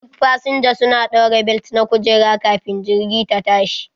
Duk fasinja su na ɗaura belet na kujera kafin jirgi ta tashi.